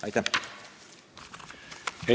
Aitäh!